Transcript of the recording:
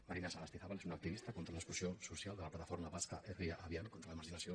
marina sagastizábal és una activista contra l’exclusió social de la plataforma basca herria abian contra la marginació